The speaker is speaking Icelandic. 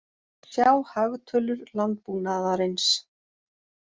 Sjá hagtölur landbúnaðarins.